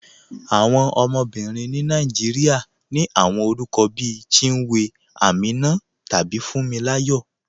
Awọn ọmọbìrín ni Nàìjíríà ní awọn orúkọ̀ bí Chínwé, Àmínà, tàbí Fúǹmíláyọ̀.